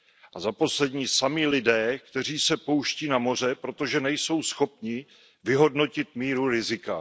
A za poslední sami lidé, kteří se pouští na moře, protože nejsou schopni vyhodnotit míru rizika.